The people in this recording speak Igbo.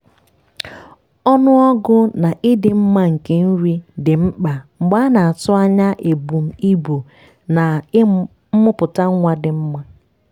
ọnụọgụ na ịdị mma nke nri dị mkpa mgbe a na-atụ anya ebum ibu na mmụputa nwa dị mma